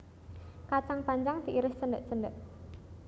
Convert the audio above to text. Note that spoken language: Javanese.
Kacang panjang diiris cendhek cendhek